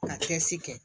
Ka cɛsiri kɛ